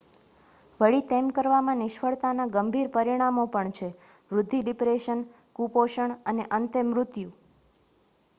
વળી તેમ કરવામાં નિષ્ફળતાના ગંભીર પરિણામો પણ છે વૃદ્ધિ ડિપ્રેશન કુપોષણ અને અંતે મૃત્યુ